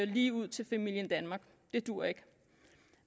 lige ud til familien danmark det duer ikke